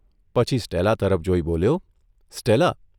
પછી સ્ટેલા તરફ જોઇ બોલ્યોઃ' સ્ટેલા!